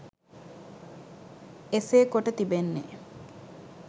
එසේ කොට තිබෙන්නේ